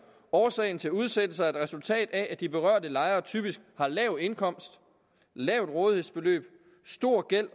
årsagen til udsættelser er et resultat af at de berørte lejere typisk har lav indkomst lavt rådighedsbeløb stor gæld